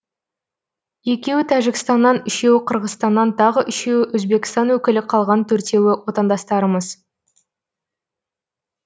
екеуі тәжікстаннан үшеуі қырғызстаннан тағы үшеуі өзбекстан өкілі қалған төртеуі отандастарымыз